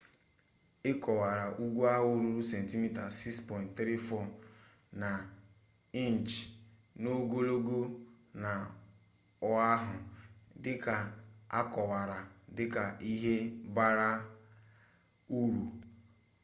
ekowara ugwu ahụ ruru sentimita 6.34 na inchi n'ogologo na oahu dịka akọwara dịka 'ihe bara uru'